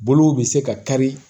Bolow bɛ se ka kari